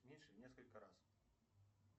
меньше в несколько раз